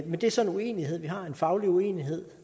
men det er så en uenighed vi har en faglig uenighed